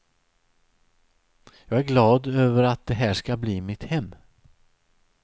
Jag är glad över att det här ska bli mitt hem.